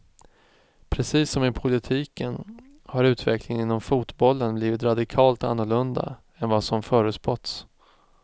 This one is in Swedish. Precis som i politiken har utvecklingen inom fotbollen blivit radikalt annorlunda än vad som förutspåtts.